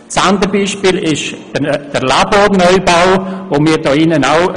Das andere Beispiel betrifft den Laborneubau an der Murtenstrasse.